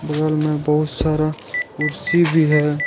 बगल में बहुत सारा कुर्सी भी है।